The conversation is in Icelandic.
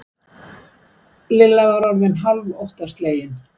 Lilla var orðin hálf óttaslegin.